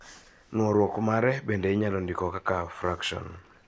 Nworuok mare bende inyalo ndiko kaka frakson.